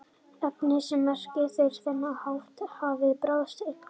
efni sem merkt eru á þennan hátt hafa bráð eituráhrif